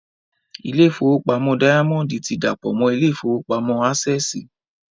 Ilé ìfowópamọ́ dáyámọ́ndì ti dàpọ̀ mọ́ ilé ìfowópamọ́ ásẹ̀sì